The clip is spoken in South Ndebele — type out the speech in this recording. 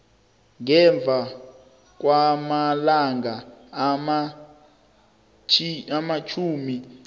ngemva kwamalanga amatjhumi